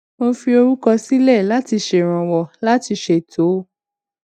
mo fi orúkọ sílè láti ṣèrànwó láti ṣètò